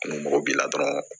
Ni mɔgɔ b'i la dɔrɔn